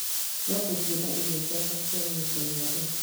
No ngũthiĩ na irio ciakwa cia kĩ Chaina rĩ?